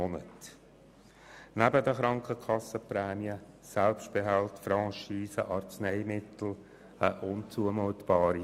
Diese Kostenüberwälzung ist neben den Krankenkassenprämien, Selbstbehalten, Franchisen und Arzneimittelkosten unzumutbar.